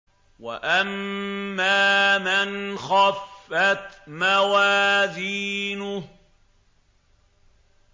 وَأَمَّا مَنْ خَفَّتْ مَوَازِينُهُ